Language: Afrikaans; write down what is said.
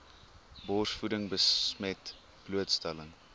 borsvoeding besmet blootstelling